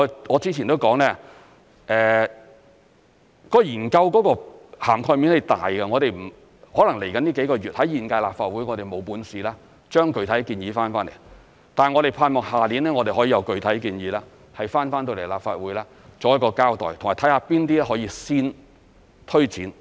我之前也說過，研究的涵蓋面是大的，可能未來幾個月，在現屆立法會，我們未能提出具體建議，但我們盼望，下年我們可以有具體建議提交立法會作一個交代，以及看看哪些可以先推展。